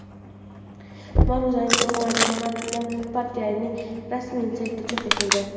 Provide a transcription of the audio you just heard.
Ma’ruzaning to‘liq matni partiyaning rasmiy saytida chop etildi .